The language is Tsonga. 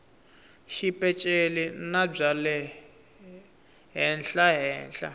xipeceli na bya le henhlahenhla